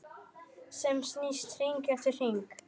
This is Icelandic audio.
Sem snýst hring eftir hring.